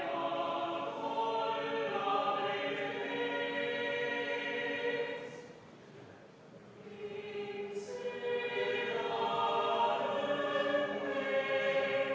Laulab Collegium Musicale.